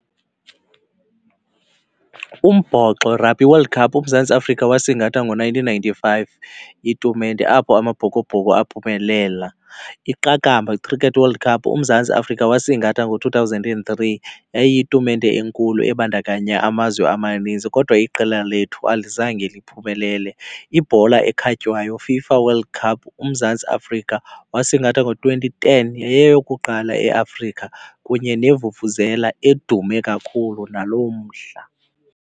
Umbhoxo, Rugby World Cup uMzantsiAfrika wasingatha ngo-nineteen ninety-five itumente apho amabhokobhoko aphumelela. Iqakamba, Cricket World Cup uMzantsi Afrika wasingatha ngo-two thousand and three, yayiyitumente enkulu ebandakanya amazwe amaninzi kodwa iqela lethu alizange liphumelele. Ibhola ekhatywayo, FIFA World Cup, uMzantsi Afrika wasingatha ngo-twenty ten. Yayiyeyokuqala eAfrika kunye nevuvuzela edume kakhulu nalo mhla.